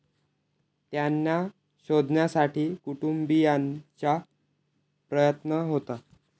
त्यांना शोधण्यासाठी कुटुंबियांचा प्रयत्न होता.